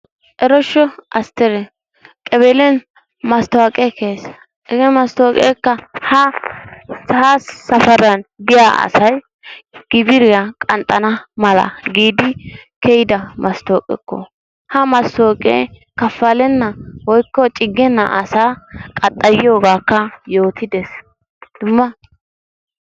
eroshsho Astere! qaballiyaan masttoqqee kiyiis. hege masttoqqekka ha safaran de'iyaa asay 'gibiriyaa' qanxxana mala giidi kiyidda masttoqekko. ha masttoqqe kafalena woykko cigenna asakka qaxxayiyoogakka yootide. dummaa...